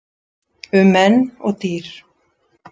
Um menn og dýr